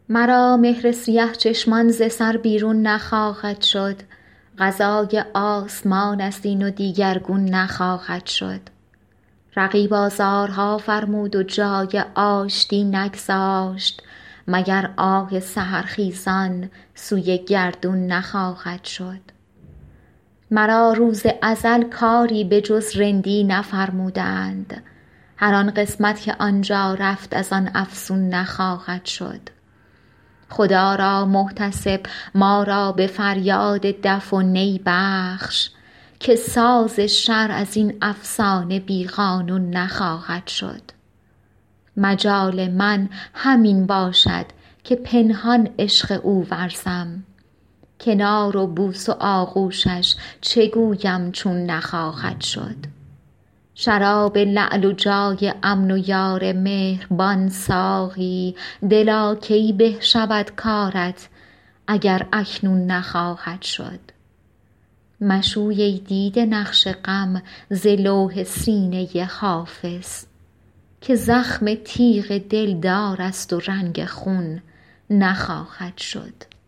مرا مهر سیه چشمان ز سر بیرون نخواهد شد قضای آسمان است این و دیگرگون نخواهد شد رقیب آزارها فرمود و جای آشتی نگذاشت مگر آه سحرخیزان سوی گردون نخواهد شد مرا روز ازل کاری به جز رندی نفرمودند هر آن قسمت که آن جا رفت از آن افزون نخواهد شد خدا را محتسب ما را به فریاد دف و نی بخش که ساز شرع از این افسانه بی قانون نخواهد شد مجال من همین باشد که پنهان عشق او ورزم کنار و بوس و آغوشش چه گویم چون نخواهد شد شراب لعل و جای امن و یار مهربان ساقی دلا کی به شود کارت اگر اکنون نخواهد شد مشوی ای دیده نقش غم ز لوح سینه حافظ که زخم تیغ دلدار است و رنگ خون نخواهد شد